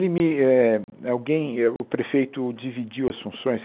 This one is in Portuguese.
Me eh alguém eh o prefeito dividiu as funções.